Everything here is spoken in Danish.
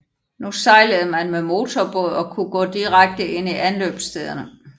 Nu sejlede man med motorbåd og kunne gå direkte ind i anløbsstederne